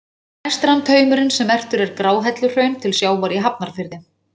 Næst rann taumurinn sem merktur er Gráhelluhraun til sjávar í Hafnarfirði.